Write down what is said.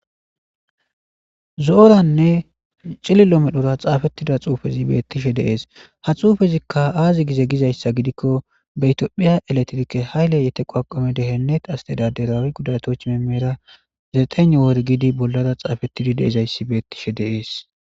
zo7oranne cililo medhora xaafettida xuufezi beettishe deees .ha xuufezikka aazi gize gizayssa gidikko betiophiya eletrikke hayle yete qoaqome dehennet aste daderawi gudatoch memera zeeten worgidi bollara xaafettidi deizayssi beettishe deees.